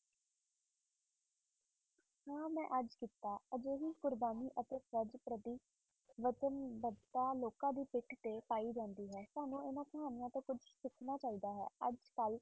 ਹਾਂ ਮੈਂ ਅੱਜ ਕੀਤਾ ਹਜੇ ਵੀ ਕੁਰਬਾਨੀ ਅਤੇ ਫ਼ਰਜ਼ ਪ੍ਰਤੀ ਬਚਨਬੱਧਤਾ ਲੋਕਾਂ ਦੀ ਪਿੱਠ ਤੇ ਪਾਈ ਜਾਂਦੀ ਹੈ, ਤੁਹਾਨੂੰ ਇਹਨਾਂ ਕਹਾਣੀਆਂ ਤੋਂ ਕੁੱਝ ਸਿੱਖਣਾ ਚਾਹੀਦਾ ਹੈ ਅੱਜ ਕੱਲ੍ਹ